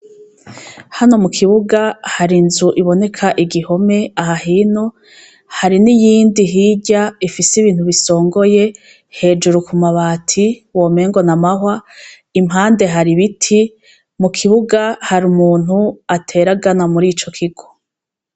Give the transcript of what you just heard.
Hano mu kibuga hari inzu iboneka igihome aha hino hari n'iyindi hirya ifise ibintu bisongoye hejuru ku mabati womengo na amahwa impande hari ibiti mu kibuga hari umuntu ateragana muri ico kigo.